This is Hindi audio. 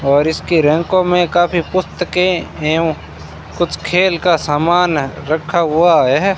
और इसके रैंकों में काफी पुस्तके एवं कुछ खेल का समान रखा हुआ है।